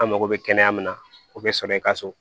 An mako bɛ kɛnɛya min na o bɛ sɔrɔ i ka so